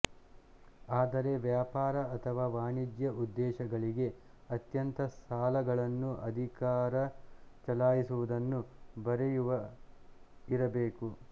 ಆದರೆ ವ್ಯಾಪಾರ ಅಥವಾ ವಾಣಿಜ್ಯ ಉದ್ದೇಶಗಳಿಗೆ ಅತ್ಯಂತ ಸಾಲಗಳನ್ನು ಅಧಿಕಾರ ಚಲಾಯಿಸುವುದನ್ನು ಬರೆಯುವ ಇರಬೇಕು